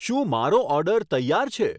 શું મારો ઓર્ડર તૈયાર છે